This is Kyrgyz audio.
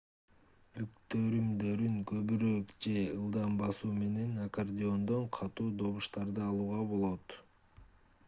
бүктөрүмдөрүн көбүрөөк же ылдам басуу менен аккордеондон катуу добуштарды алууга болот